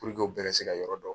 Puruke u bɛɛ ka se ka yɔrɔ dɔn.